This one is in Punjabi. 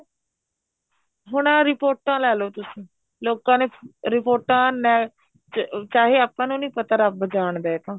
ਹੁਣ ਆਹ ਰਿਪੋਰਟਾਂ ਲੈਲੋ ਤੁਸੀਂ ਲੋਕਾਂ ਨੇ ਰਿਪੋਰਟਾਂ ਨੇ ਚਾਹੇ ਆਪਾਂ ਨੂੰ ਨੀ ਪਤਾ ਰੱਬ ਜਾਣਦਾ ਇਹ ਤਾਂ